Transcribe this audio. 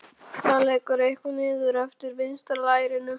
Það lekur eitthvað niður eftir vinstra lærinu.